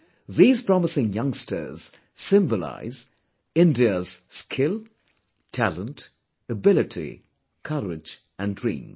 These promising youngsters symbolise India's skill, talent, ability, courage and dreams